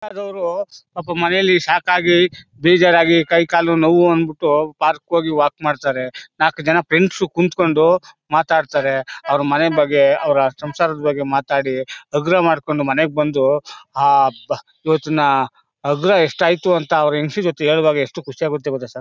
ಸರ್ಕಾರದವ್ರು ಪಾಪ ಮನೇಲಿ ಸಾಕಾಗಿ ಬೇಜಾರಾಗಿ ಕೈ ಕಾಲು ನೋವ್ ಅಂದ್ಬಿಟ್ಟು ಪಾರ್ಕ್ಗೆ ಹೋಗಿ ವಾಕ್ ಮಾಡತಾರೆ ನಾಲ್ಕ್ ಜನ ಫ್ರೆಂಡ್ಸ್ ಕುತ್ಕೊಂಡು ಮಾತಾಡ್ತಾರೆ ಅವ್ರ್ ಮನೆ ಬಗ್ಗೆ ಅವ್ರ ಸಂಸಾರದ್ ಬಗ್ಗೆಮಾತಾಡಿ ಹಗುರ ಮಾಡ್ಕೊಂಡು ಮನೆಗ್ ಬಂದು ಅಬ್ಬಾ ಇವತ್ತು ನ ಹಗುರ ಎಸ್ಟಾಯ್ತು ಅಂತ ಅವ್ರ್ ಹೆಂಡ್ತಿ ಜೊತೆ ಹೇಳೋವಾಗ ಎಷ್ಟು ಖುಷಿಯಾಗುತ್ತೆ ಗೊತ್ತಾ ಸರ್ .